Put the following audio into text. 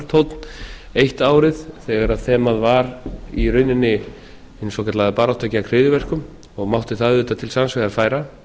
tónn eitt árið þegar þemað var í rauninni hin svokallaða barátta gegn hryðjuverkum og mátti það auðvitað til sanns vegar færa